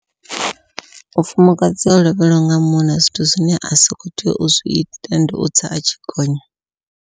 Mufumakadzi o lovheliwa nga munna zwithu zwine a so khou tea u zwi ita ndi u tsa atshi gonya.